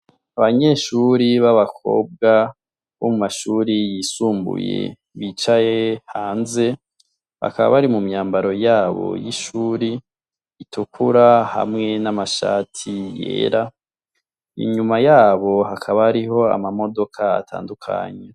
Abanyeshuri babakobwa bo mu shuri yisumbuye bicaye hanze bakaba bari mu myambaro yabo y'ishuri itukura hamwe n'amashati yera inyuma yabo hakaba hariho ama modoka atandutanye.